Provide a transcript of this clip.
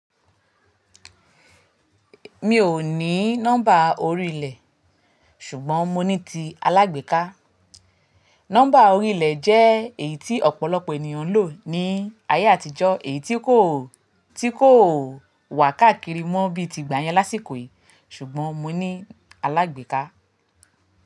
Mi ò ní nọ́mbà orílẹ̀, ṣùgbọ́n mo ní ti alágbèéká. Nọ́mbà orílẹ̀ jẹ́ èyí tí ọ̀pọ̀lọpọ̀ ènìyàn ń lò ní ayé àtijọ́, èyí tí kò, tí kò wà káàkiri mọ́ bíi ti ìgbà yẹn lásìkò yìí. Ṣùgbọ́n mo ní alágbèéká.